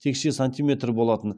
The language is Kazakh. текше сантиметр болатын